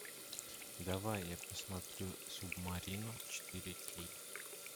давай я посмотрю субмарину четыре кей